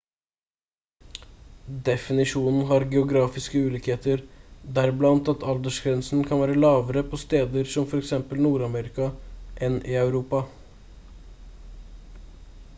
definisjonen har geografiske ulikheter deriblant at aldersgrensen kan være lavere på steder som for eksempel nord-amerika enn i europa